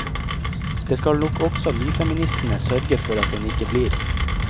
Det skal nok også nyfeministene sørge for at den ikke blir.